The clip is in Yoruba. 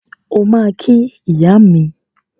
O ma ki iya mi.